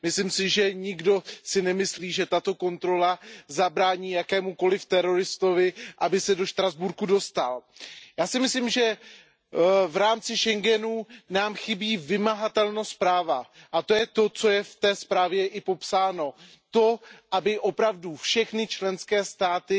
Myslím si, že nikdo si nemyslí, že tato kontrola zabrání jakémukoliv teroristovi, aby se do Štrasburku dostal. Já si myslím, že v rámci schengenského prostoru nám chybí vymahatelnost práva, a to je i to, co je v té zprávě popsáno. To, aby opravdu všechny členské státy